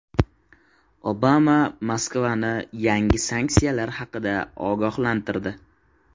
Obama Moskvani yangi sanksiyalar haqida ogohlantirdi.